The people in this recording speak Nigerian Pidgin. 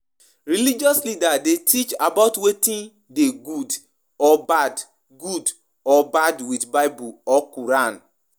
Dem de help pipo understand God and help pipo connect help pipo connect with am